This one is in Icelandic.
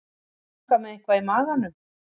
Að ganga með eitthvað í maganum